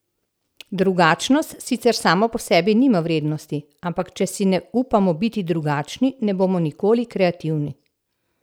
Drugačnost sicer sama po sebi nima vrednosti, ampak če si ne upamo biti drugačni, ne bomo nikoli kreativni!